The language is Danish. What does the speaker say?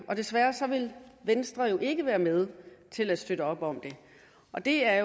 og desværre vil venstre jo ikke være med til at støtte op om det og det er